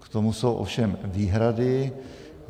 K tomu jsou ovšem výhrady.